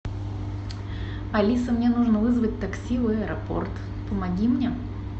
алиса мне нужно вызвать такси в аэропорт помоги мне